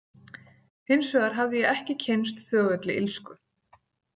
Hins vegar hafði ég ekki kynnst þögulli illsku.